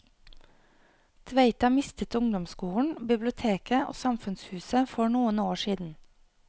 Tveita mistet ungdomsskolen, biblioteket og samfunnshuset for noen år siden.